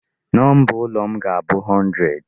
Number ụlọ m ga-abụ 100.